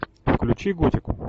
включи готику